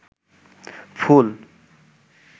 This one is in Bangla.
ফুল